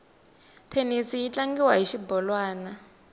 thenisi yi tlangiwa hi xibolwani